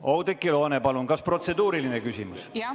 Oudekki Loone, palun, kas protseduuriline küsimus?